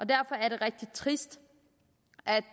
derfor er det rigtig trist